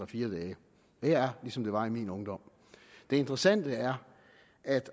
fire dage det er ligesom det var i min ungdom det interessante er at det